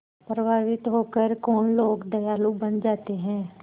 प्रभावित होकर कौन लोग दयालु बन जाते हैं